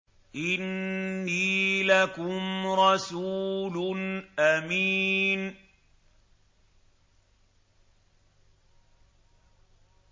إِنِّي لَكُمْ رَسُولٌ أَمِينٌ